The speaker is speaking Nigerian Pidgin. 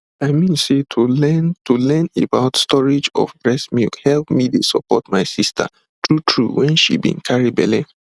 i mean say to learn to learn about storage of breast milk help me dey support my sister truetrue when she been carry belle